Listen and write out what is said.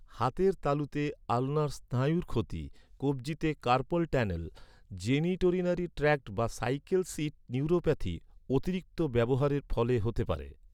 হাতের তালুতে আলনার স্নায়ুর ক্ষতি, কব্জিতে কার্পল টানেল, জেনিটোরিনারি ট্র্যাক্ট বা সাইকেল সিট নিউরোপ্যাথি অতিরিক্ত ব্যবহারের ফলে হতে পারে।